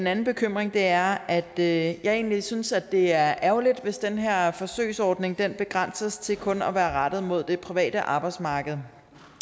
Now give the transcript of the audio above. anden bekymring er at jeg synes at det er ærgerligt hvis den her forsøgsordning begrænses til kun at være rettet mod det private arbejdsmarked